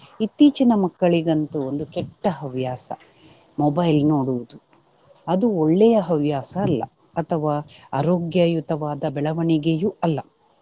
ಇತ್ತೀಚಿನ ಮಕ್ಕಳಿಗಂತೂ ಒಂದು ಕೆಟ್ಟ ಹವ್ಯಾಸ mobile ನೋಡುವುದು. ಅದು ಒಳ್ಳೆಯ ಹವ್ಯಾಸ ಅಲ್ಲ ಅಥವಾ ಆರೋಗ್ಯಯುತವಾದ ಬೆಳವಣಿಗೆಯು ಅಲ್ಲ.